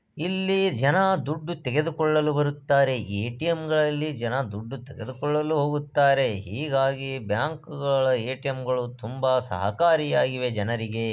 ಇಲ್ಲಿ ಜನ ದುಡ್ಡು ತೆಗೆದುಕೊಳ್ಳಲು ಬರುತ್ತಾರೆ ಎ.ಟಿ.ಎಂ ಗಳಲ್ಲಿ ಜನ ದುಡ್ಡು ತೆಗೆದುಕೊಳ್ಳಲು ಹೋಗುತ್ತಾರೆ ಹೀಗಾಗಿ ಬ್ಯಾಂಕ್ ಗಳ ಎ.ಟಿ.ಎಂ ಗಳು ತುಂಬಾ ಸಹಕಾರಿ ಆಗಿವೆ ಜನರಿಗೆ.